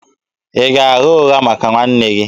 Ị ga-agha ụgha maka nwanne gị?